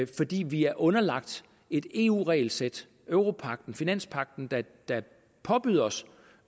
fordi vi er underlagt et eu regelsæt europagten finanspagten der påbyder os